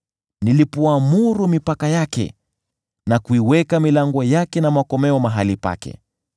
nilipoamuru mipaka yake, na kuiweka milango yake na makomeo mahali pake,